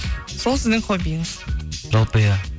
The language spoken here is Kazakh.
сол сіздің хоббиіңіз жалпы иә